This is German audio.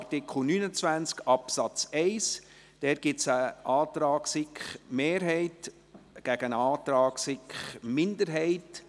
Zu Absatz 1 gibt es einen Antrag der SiK-Mehrheit gegen einen Antrag der SiK-Minderheit.